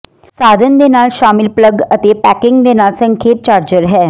ਸਾਧਨ ਦੇ ਨਾਲ ਸ਼ਾਮਿਲ ਪਲੱਗ ਅਤੇ ਪੈਕਿੰਗ ਦੇ ਨਾਲ ਸੰਖੇਪ ਚਾਰਜਰ ਹੈ